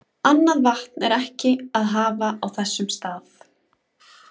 Annað vatn er ekki að hafa á þessum stað.